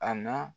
A na